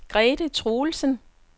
Grete Truelsen